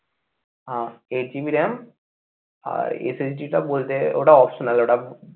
হ্যাঁ eight GB ram আর SSG টা বলতে ওটা optional ওটা